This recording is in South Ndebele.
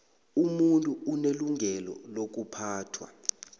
umuntu unelungelo lokuphathwa